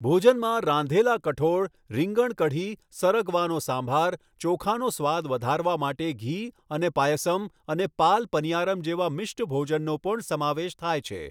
ભોજનમાં રાંધેલા કઠોળ, રીંગણ કઢી, સરગવાનો સાંભાર, ચોખાનો સ્વાદ વધારવા માટે ઘી અને પાયસમ અને પાલ પનીયારમ જેવા મિષ્ટ ભોજનનો પણ સમાવેશ થાય છે.